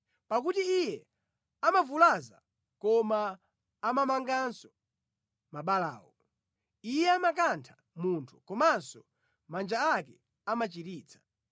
Pakuti Iye amavulaza koma amamanganso mabalawo; Iye amakantha munthu, komanso manja ake amachiritsa.